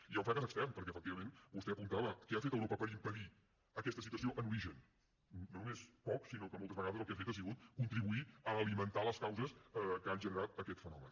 i hi ha un fracàs extern perquè efectivament vostè ho apuntava què ha fet europa per impedir aquesta situació en origen no només poc sinó que moltes vegades el que ha fet ha sigut contribuir a alimentar les causes que han generat aquest fenomen